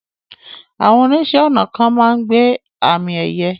Àwọn oníṣẹ̀-ọnà kan máa n gbẹ́ àmì ẹyẹ̀